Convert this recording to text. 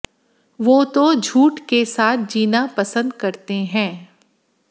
वे तो झूठ के साथ जीना पसंद करते हैं